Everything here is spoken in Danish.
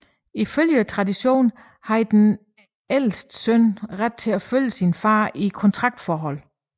Ifølge traditionen havde den ældste søn ret til at følge sin far i kontraktforholdet